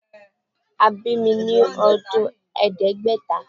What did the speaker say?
A bi mi ni ọdun Ẹẹdẹgbẹta